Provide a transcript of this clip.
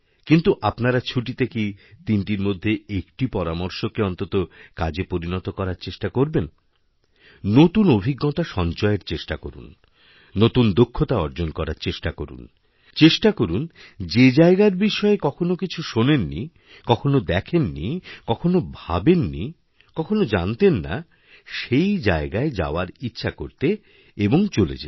কিন্তু আপনারা ছুটিতে কি তিনটির মধ্যে একটি পরামর্শকেঅন্তত কাজে পরিণত করার চেষ্টা করবেন নতুন অভিজ্ঞতা সঞ্চয়ের চেষ্টা করুন নতুনদক্ষতা অর্জন করার চেষ্টা করুন চেষ্টা করুন যে জায়গার বিষয়ে কখনও কিছু শোনেন নিকখনও দেখেননি কখনও ভাবেননি কখনও জানতেন না সেই জায়গায় যাওয়ার ইচ্ছা করতে এবংচলে যেতে